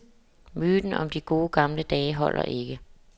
Myten om de gode gamle dage holder ikke.